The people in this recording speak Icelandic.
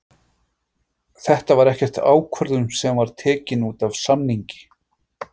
Þetta var ekkert ákvörðun sem var tekin útaf samningi?